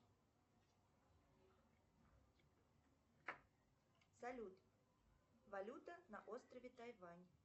салют валюта на острове тайвань